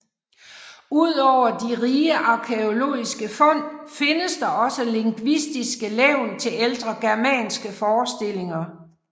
Udover de rige arkæologiske fund findes der også lingvistiske levn til ældre germanske forestillinger